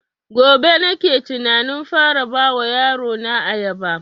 Gobe nake tunanin fara ba wa yaro na ayaba